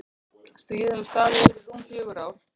Stríðið hafði staðið yfir í rúm fjögur ár.